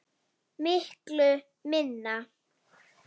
Miklu minna.